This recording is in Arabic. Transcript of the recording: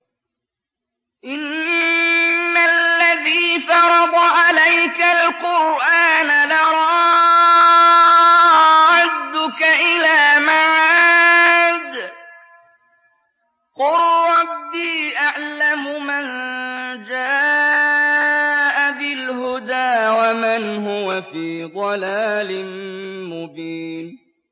إِنَّ الَّذِي فَرَضَ عَلَيْكَ الْقُرْآنَ لَرَادُّكَ إِلَىٰ مَعَادٍ ۚ قُل رَّبِّي أَعْلَمُ مَن جَاءَ بِالْهُدَىٰ وَمَنْ هُوَ فِي ضَلَالٍ مُّبِينٍ